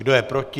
Kdo je proti?